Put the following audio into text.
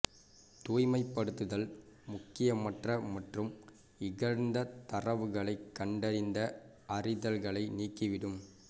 தூய்மைப்படுத்துதல் முக்கியமற்ற மற்றும் இழந்த தரவுகளைக் கண்டறிந்த அறிதல்களை நீக்கிவிடும்